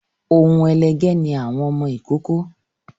Oun ẹlẹgẹ́ ni àwọn ọmọ ìkókó